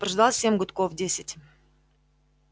прождал семь гудков десять